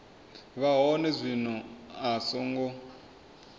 vha hone zwino a songo